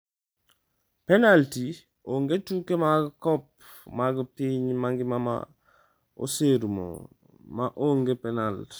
Penalti Onge tuke mag Kop mag piny mangima ma oserumo ma onge penalt.